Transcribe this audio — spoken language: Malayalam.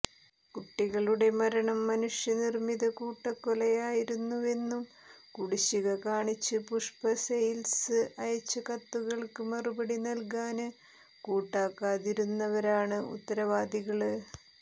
കുട്ടികളുടെ മരണം മനുഷ്യ നിര്മ്മിത കൂട്ടക്കൊലയായിരുന്നുവെന്നും കുടിശ്ശിക കാണിച്ച് പുഷ്പ സെയില്സ് അയച്ച കത്തുകള്ക്ക് മറുപടി നല്കാന് കൂട്ടാക്കാതിരുന്നവരാണ് ഉത്തരവാദികള്